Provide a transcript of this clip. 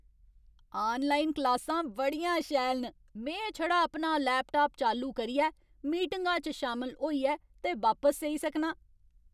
Online क्लासां बड़ियां शैल न। में छड़ा अपना लैपटाप चालू करियै, मीटिंगा च शामल होइयै ते बापस सेई सकनां।